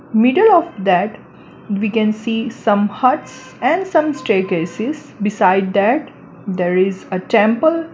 Middle of that we can see some huts and some staircases beside that there is a temple.